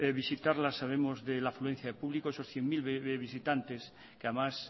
visitarla sabemos de la afluencia de público esos cien mil visitantes que además